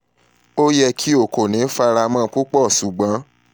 o yẹ ki o ko ni faramọ pupọ ṣugbọn idanwo siwaju sii gbọdọ wa ni ṣe